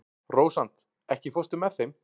Rósant, ekki fórstu með þeim?